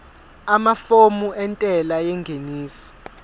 amafomu entela yengeniso